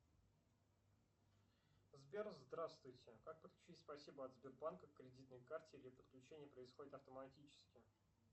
сбер здравствуйте как подключить спасибо от сбербанка к кредитной карте или подключение происходит автоматически